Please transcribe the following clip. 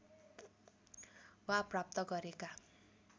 वा प्राप्त गरेका